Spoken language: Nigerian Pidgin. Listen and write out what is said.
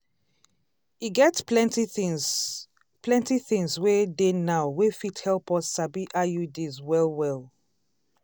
e get plenty things plenty things wey dey now wey fit help us sabi iuds well well.